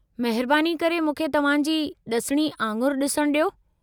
महिरबानी करे मूंखे तव्हां जी ड॒सिणी आङुरि ॾिसणु ॾियो।